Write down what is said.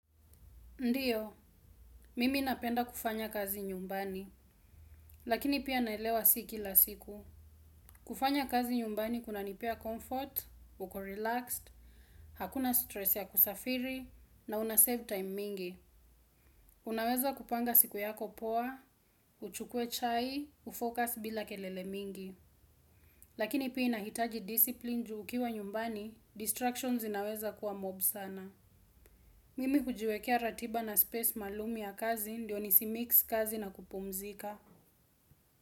Ndio, mimi napenda kufanya kazi nyumbani, lakini pia naelewa sii kila siku. Kufanya kazi nyumbani kuna nipea comfort, uko relaxed, hakuna stress ya kusafiri, na una save time mingi. Unaweza kupanga siku yako poa, uchukue chai, ufocus bila kelele mingi. Lakini pia inahitaji discipline juu ukiwa nyumbani, distractions zinaweza kuwa mob sana. Mimi hujiwekea ratiba na space maluumya kazi ndio nisi mix kazi na kupumzika.